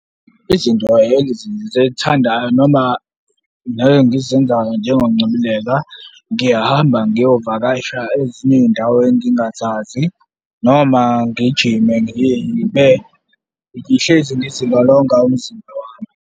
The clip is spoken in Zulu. Izinto noma ngizenzayo njengokungcebeleka, ngiyahamba ngiyovakasha ezinye iy'ndawo engingazazi noma ngijime ngiye ngibe ngihlezi ngizilolonga umzimba wami.